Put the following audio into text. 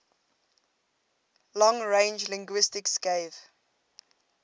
long range linguistics gave